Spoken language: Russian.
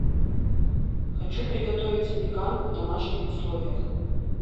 хочу приготовить запеканку в домашних условиях